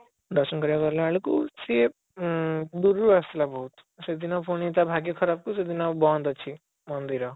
ଦର୍ଶନ କରିଲା ଗଲା ବେଳକୁ ସିଏ ଆଁ ଦୁରୁରୁ ଆସୁଥିଲା ବହୁତ ସେଦିନ ପୁଣି ତା ଭାଗ୍ୟ ଖରାପ କୁ ସେଦିନ ବନ୍ଦ ଅଛି ମନ୍ଦିର